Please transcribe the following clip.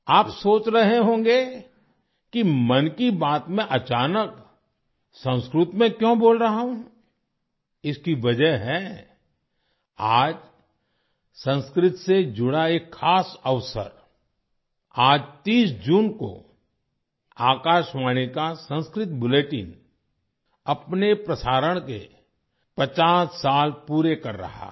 आप सोच रहे होंगे कि 'मन की बात' में अचानक संस्कृत में क्यों बोल रहा हूँ इसकी वजह है आज संस्कृत से जुड़ा एक खास अवसर आज 30 जून को आकाशवाणी का संस्कृत बुलेटिन अपने प्रसारण के 50 साल पूरे कर रहा है